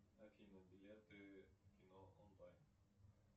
афина билеты в кино онлайн